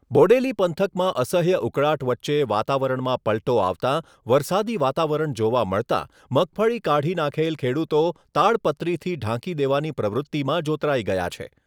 બોડેલી પંથકમાં અસહ્ય ઉકળાટ વચ્ચે વાતાવરણમાં પલટો આવતાં વરસાદી વાતાવરણ જોવા મળતાં મગફળી કાઢી નાખેલ ખેડૂતો તાડ પત્રીથી ઢાંકી દેવાની પ્રવૃતિમાં જોતરાઈ ગયા છે.